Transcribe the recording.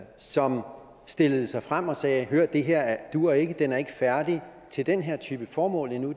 som stillede sig frem og sagde hør det her duer ikke den er ikke færdig til den her type formål endnu